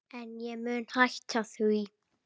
En ég mun hætta því.